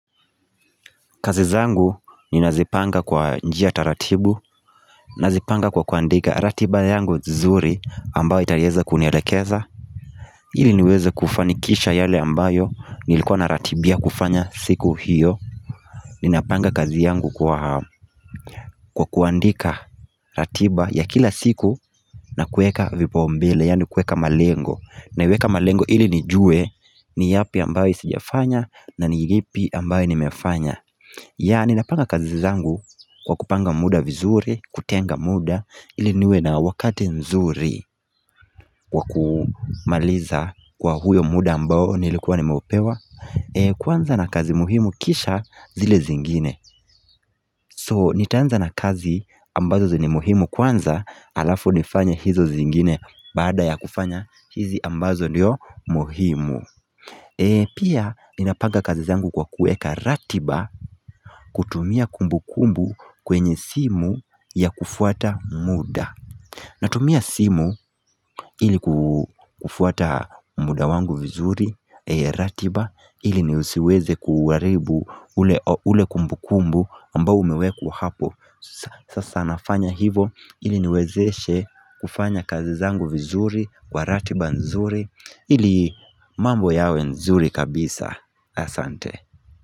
Kazi zangu ninazipanga kwa njia taratibu Nazipanga kwa kuandika ratiba yangu vizuri ambayo itaieza kunielekeza ili niweze kufanikisha yale ambayo nilikuwa na ratibia kufanya siku hiyo Ninapanga kazi yangu kwa kuandika ratiba ya kila siku na kueka vipo mbele yani kueka malengo naiweka malengo ili nijue ni yapi ambayo sijafanya na ni ipi ambayo nimefanya, ninapanga kazi zangu kwa kupanga muda vizuri, kutenga muda, iliniwe na wakati mzuri Kwa kumaliza kwa huyo muda ambao nilikuwa ni maopewa Kwanza na kazi muhimu kisha zile zingine So, nitaanza na kazi ambazo zini muhimu kwanza alafu nifanye hizo zingine Bada ya kufanya hizi ambazo niyo muhimu Pia minapaga kazi zangu kwa kueka ratiba kutumia kumbukumbu kwenye simu ya kufuata muda Natumia simu ili kufuata muda wangu vizuri ratiba ili ni siweze kuharibu ule kumbu kumbu ambao umeweku hapo Sasa nafanya hivo ili niwezeshe kufanya kazi zangu vizuri kwa ratiba nzuri ili mambo yawe nzuri kabisa asante.